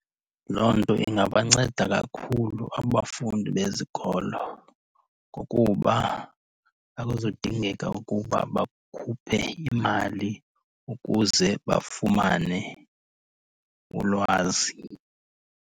Loo nto ingabanceda kakhulu abafundi bezikolo ngokuba akuzudingeka ukuba bakhuphe imali ukuze bafumane ulwazi.